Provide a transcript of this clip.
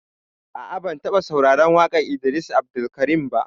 A'a, ban taɓa sauraran waƙan Idris Abdulkarim ba